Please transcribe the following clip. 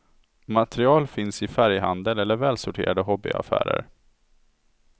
Material finns i färghandel eller välsorterade hobbyaffärer.